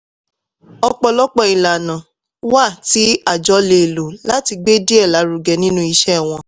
ọ̀pọ̀lọpọ̀ ìlànà wà tí àjọ lè lò láti gbé dei lárugẹ nínú iṣẹ́ wọn.